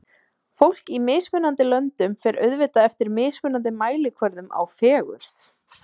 Fólk í mismunandi löndum fer auðvitað eftir mismunandi mælikvörðum á fegurð.